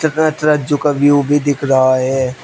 View भी दिख रहा है।